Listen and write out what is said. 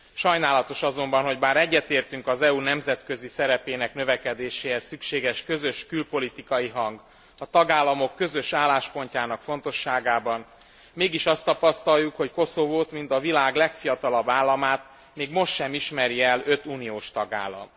Sajnálatos azonban, hogy bár egyetértünk az EU nemzetközi szerepének növekedéséhez szükséges közös külpolitikai hang, a tagállamok közös álláspontjának fontosságában, mégis azt tapasztaljuk, hogy Koszovót, mint a világ legfiatalabb államát még most sem ismeri el öt uniós tagállam.